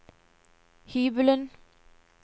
hybelen